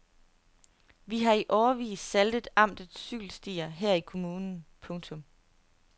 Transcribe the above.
Vi har i årevis saltet amtets cykelstier her i kommunen. punktum